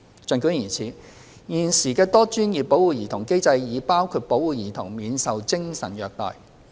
儘管如此，現時的多專業保護兒童機制已包括保護兒童免受精神虐待。